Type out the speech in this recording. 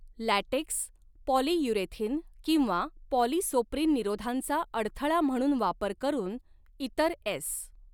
LaTeX, polyurethane किंवा polyisoprene निरोधांचा अडथळा म्हणून वापर करून, इतर एस.